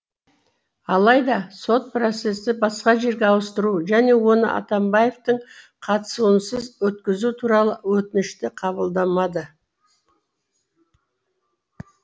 алайда сот процесті басқа жерге ауыстыру және оны атамбаевтың қатысуынсыз өткізу туралы өтінішті қабылдамады